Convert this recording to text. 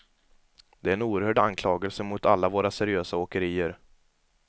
Det är en oerhörd anklagelse mot alla våra seriösa åkerier.